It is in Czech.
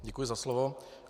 Děkuji za slovo.